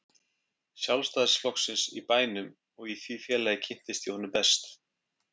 Sjálfstæðisflokksins í bænum og í því félagi kynntist ég honum best.